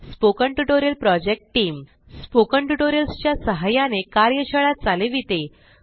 spoken tutorial project team spoken tutorials च्या सहाय्याने कार्यशाळा चालविते